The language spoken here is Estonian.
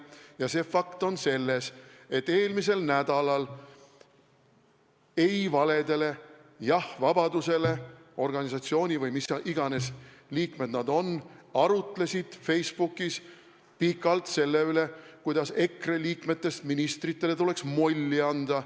Ja see fakt on, et eelmisel nädalal arutlesid "Ei valedele, jah vabadusele" organisatsiooni – või mis iganes ühendus see on – liikmed Facebookis pikalt selle üle, kuidas EKRE liikmetest ministritele tuleks molli anda.